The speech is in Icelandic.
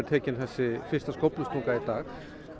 tekin þessi fyrsta skóflustunga í dag